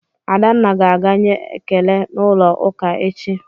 Adanna ga-aga nye ekele n'ụlọụka echi